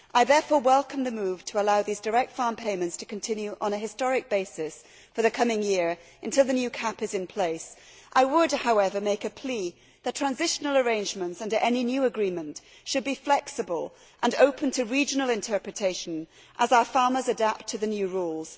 I therefore welcome the move to allow these direct farm payments to continue on a historic basis for the coming year until the new CAP is in place. I would, however, make a plea that transitional arrangements under any new agreement should be flexible and open to regional interpretation as our farmers adapt to the new rules.